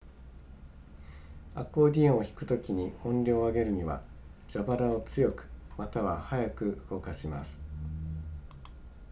アコーディオンを弾くときに音量を上げるには蛇腹を強くまたは速く動かします